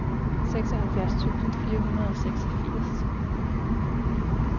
seksoghalvfjerds tusind fire hundrede og seksogfirs